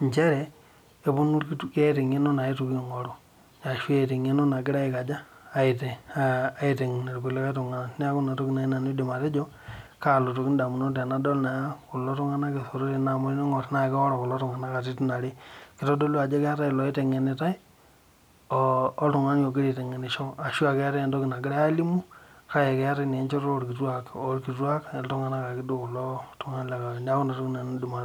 Njere keeta engeno nagirai aitengen ilkulikai tungana amu keworo katitin are keitodolu ajo keeta iloiteng'enitai oltungani logira aitengenisho